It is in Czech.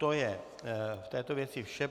To je k této věci vše.